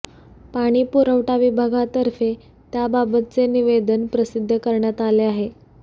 पाणी पुरवठा विभागातर्फे त्याबाबतचे निवेदन प्रसिद्ध करण्यात आले आहे